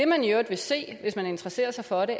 man i øvrigt vil se hvis man interesserer sig for det